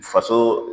Faso